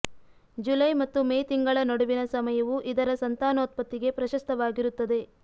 July ಮತ್ತು May ತಿಂಗಳ ನಡುವಿನ ಸಮಯವು ಇದರ ಸಂತಾನೋತ್ಪತ್ತಿಗೆ ಪ್ರಶಸ್ತವಾಗಿರುತ್ತದೆ